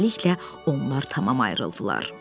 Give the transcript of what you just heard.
Beləliklə onlar tamam ayrıldılar.